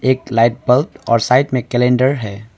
एक light bulb और side में एक कैलेंडर है।